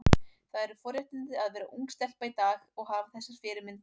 Það eru forréttindi að vera ung stelpa í dag og hafa þessar fyrirmyndir.